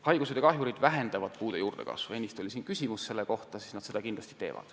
Haigused ja kahjurid vähendavad puude juurdekasvu – ennist oli siin selle kohta üks küsimus.